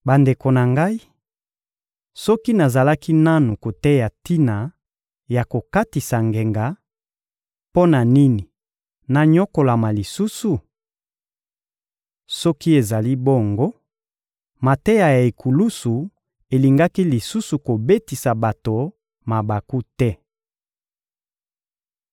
Bandeko na ngai, soki nazalaki nanu koteya tina ya kokatisa ngenga, mpo na nini nanyokolama lisusu? Soki ezali bongo, mateya ya ekulusu elingaki lisusu kobetisa bato mabaku te.